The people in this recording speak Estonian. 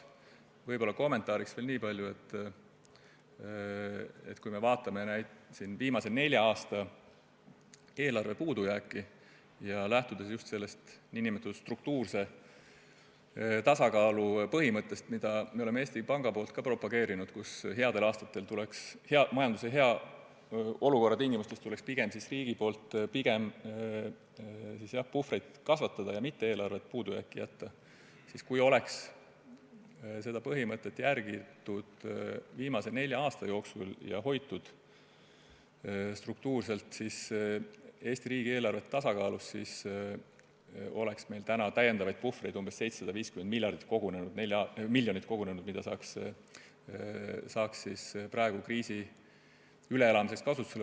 Võib-olla kommentaariks veel niipalju, et kui vaatame viimase nelja aasta eelarve puudujääki ja lähtume just sellest struktuurse tasakaalu põhimõttest, mida Eesti Pank on propageerinud – majanduslikult headel aastatel tuleks pigem puhvrit kasvatada, mitte eelarvet puudujääki jätta –, siis võib öelda, et kui seda põhimõtet oleks viimase nelja aasta jooksul järgitud ja riigieelarve struktuurses tasakaalus hoitud, siis oleks meil tänaseks kogunenud 750 miljonit eurot puhvrit, mida saaks praegu kriisi üleelamiseks ära kasutada.